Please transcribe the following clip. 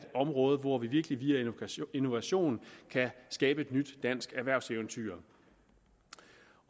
område hvor vi virkelig via innovation kan skabe et nyt dansk erhvervseventyr